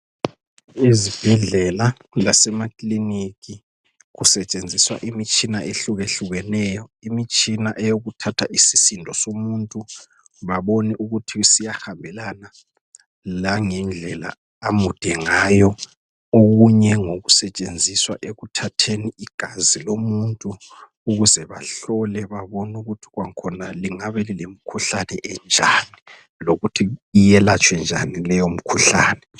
Ezibhedlela lasemakiliniki kusetshenziswa imitshina ehlukehlukeneyo imitshina eyokuthatha isisindo somuntu babone ukuthi siyahambelana langendlela amude ngayo okunye okusetshenziswa ekuthatheni igazi lomuntu ukuze bahlole babone ukuthi khona lingabe lilomkhuhlane enjan lokuthi iyelatshwe njan leyo mikhuhlane